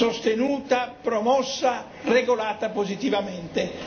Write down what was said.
sostenuta, promossa e regolata positivamente.